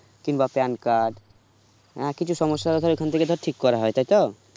কিংবা PAN card অনেক কিছু সমস্যা ওখান থেকে ধর ঠিক করা হয় তাই তো